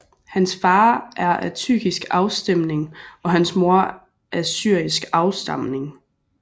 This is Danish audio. Hans far er af tyrkisk afstemning og hans mor af syrisk afstamning